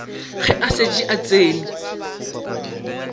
ge a šetše a tsene